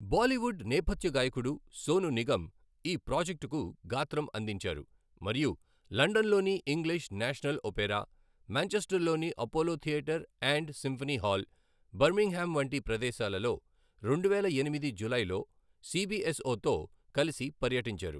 బాలీవుడ్ నేపథ్య గాయకుడు సోను నిగమ్ ఈ ప్రాజెక్టుకు గాత్రం అందించారు మరియు లండన్లోని ఇంగ్లీష్ నేషనల్ ఒపేరా, మాంచెస్టర్లోని Apollo Theatre and Symphony Hall, Birmingham వంటి ప్రదేశాలలో రెండువేల ఎనిమిది జూలైలో సీబీఎస్ఓతో కలిసి పర్యటించారు.